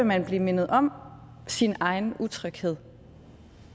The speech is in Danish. man blive mindet om sin egen utryghed